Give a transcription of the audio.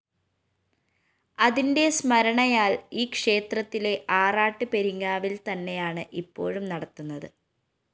അതിന്റെ സ്മരണയാല്‍ ഈക്ഷേത്രത്തിലെ ആറാട്ട് പെരിങ്ങാവില്‍തന്നെയാണ് ഇപ്പോഴും നടത്തുന്നത്